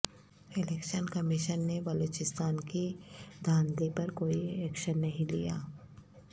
election commission نے بلوچستان کی دھاندلی پر کوئی ایکشن نہیں لیا